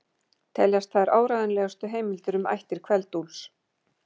Teljast þær áreiðanlegustu heimildir um ættir Kveld-Úlfs.